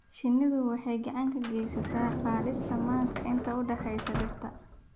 Shinnidu waxay gacan ka geysataa qaadista manka inta u dhaxaysa dhirta.